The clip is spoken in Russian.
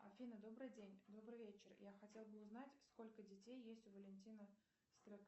афина добрый день добрый вечер я хотела бы узнать сколько детей есть у валентина